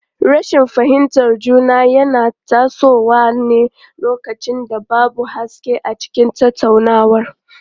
Rashin fahimtar juna yana tasowa ne lokacin da babu haske a cikin tattaunawa.